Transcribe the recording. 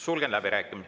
Sulgen läbirääkim...